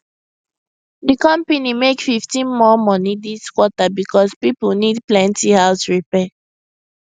the company make 15 more money this quarter because people need plenty house repair